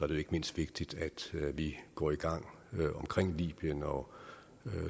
det ikke mindst vigtigt at vi går i gang omkring libyen og